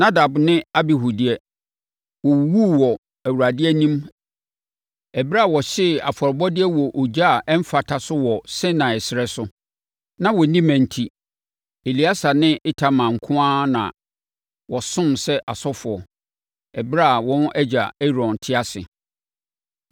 Nadab ne Abihu deɛ, wɔwuwuu wɔ Awurade anim ɛberɛ a wɔhyee afɔrebɔdeɛ wɔ ogya a ɛmfata so wɔ Sinai ɛserɛ so. Na wɔnni mma enti, Eleasa ne Itamar nko ara na wɔsomm sɛ asɔfoɔ, ɛberɛ a wɔn agya Aaron te ase.